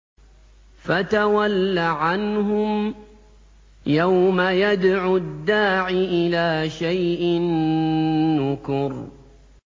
فَتَوَلَّ عَنْهُمْ ۘ يَوْمَ يَدْعُ الدَّاعِ إِلَىٰ شَيْءٍ نُّكُرٍ